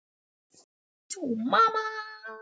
Við bara urðum.